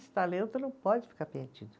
Esse talento não pode ficar perdido.